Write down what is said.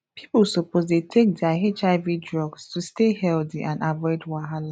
people suppose to dey take their hiv drugs to stay healthy and avoid wahala